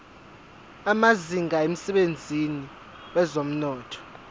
amazinga emsebenzini wezomnotho